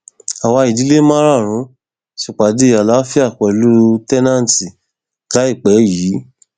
àwa ìdílé márààrún ṣèpàdé àlàáfíà pẹlú teilat láìpẹ yìí